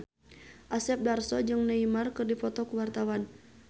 Asep Darso jeung Neymar keur dipoto ku wartawan